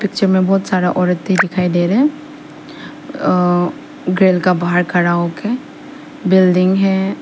पीछे में बहोत सारा औरत दिखाई दे रहे अ गेल के बाहर खड़ा होके बिल्डिंग है।